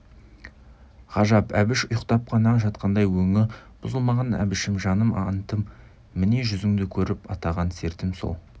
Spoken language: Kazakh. ғажап әбіш ұйықтап қана жатқандай өңі бұзылмаған әбішім жаным антым міне жүзіңді көріп атаған сертім сол